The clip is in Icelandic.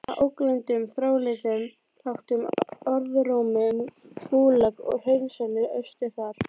Að ógleymdum þrálátum orðrómi um Gúlag og hreinsanir austur þar.